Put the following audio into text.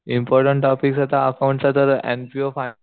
important topic आता accounts चा तर एन पी ओ